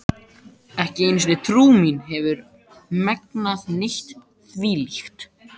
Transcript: Ekki einu sinni trú mín hefur megnað neitt þvílíkt.